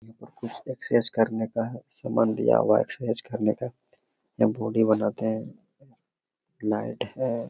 यहां पर कुछ एक्सरसाइज करने का हैं सामान दिया हुआ है एक्सरसाइज करने के लिये यहाँ बॉडी बनाते हैं लाइट हैं।